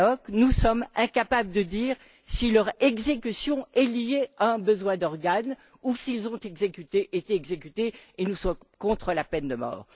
Tannock, nous sommes incapables de dire si leur exécution est liée à un besoin d'organes ou s'ils ont été exécutés, et nous sommes contre la peine de mort.